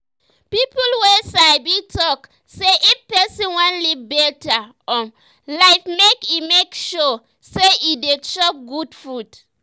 people wey sabi talk say if person wan live better um life make e make sure say e dey chop good food